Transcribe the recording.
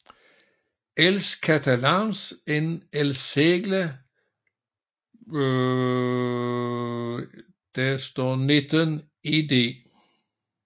Els catalans en el segle XIX Ed